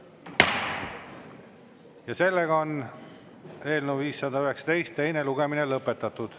Ja sellega on eelnõu 519 teine lugemine lõpetatud.